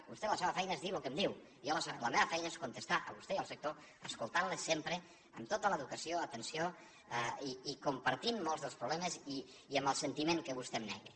vostè la seva feina és dir lo que em diu i jo la meva feina és contestar a vostè i al sector escoltant los sempre amb tota l’educació atenció i compartint molts dels problemes i amb el sentiment que vostè em negue